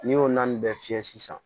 N'i y'o na nin bɛɛ fiyɛ sisan